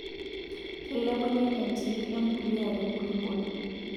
Keilepunyie entii empuliya tenkulupuoni.